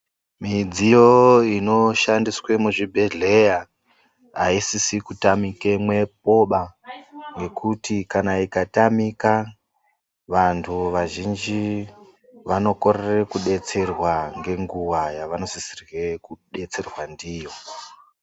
Midziyo inoshandiswe muzvibhehleya aisisi kutamikemwoba nekuti kana ikatamika vantu vazhinji vanokorere kubetserwa ngenguwa yavanosisirwe kubetserwa ndiyo.